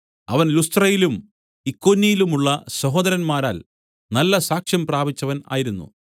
അവൻ ലുസ്ത്രയിലും ഇക്കോന്യയിലുമുള്ള സഹോദരന്മാരാൽ നല്ല സാക്ഷ്യം പ്രാപിച്ചവൻ ആയിരുന്നു